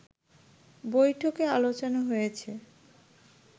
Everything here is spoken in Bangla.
বৈঠকে আলোচনা হয়েছে